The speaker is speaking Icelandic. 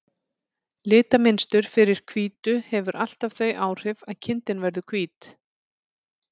Litamynstur fyrir hvítu hefur alltaf þau áhrif að kindin verður hvít.